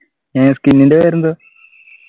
ഏർ skin ൻ്റെ പേരെന്താ